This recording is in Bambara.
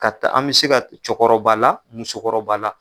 Ka taa an bɛ se ka cɛkɔrɔba la musokɔrɔba la.